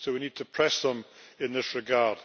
So we need to press them in this regard.